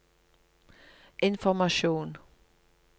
informasjon